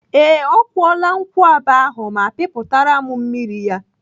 Ee, ọ kwụọla nkwụaba ahụ ma pịpụtara m mmiri ya.